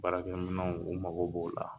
Baarakɛ minanw u mago b'o la